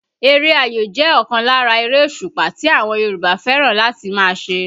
Eré ayò jẹ́ ọ̀kan lára erésùpá tí àwọn Yorùbá fẹ́ràn láti máa ṣe